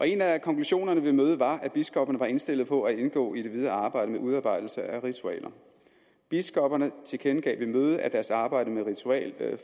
en af konklusionerne ved mødet var at biskopperne var indstillet på at indgå i det videre arbejde med udarbejdelse af ritualer biskopperne tilkendegav ved mødet at deres arbejde med ritualer